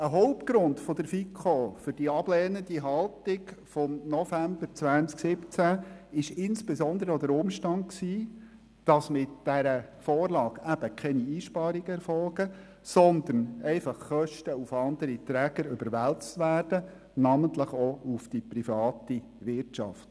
Ein Hauptgrund der FiKo für diese ablehnende Haltung im November 2017 war insbesondere der Umstand, dass mit dieser Vorlage keine Einsparungen erfolgen, sondern lediglich Kosten auf andere Träger überwälzt werden, namentlich auch auf die Privatwirtschaft.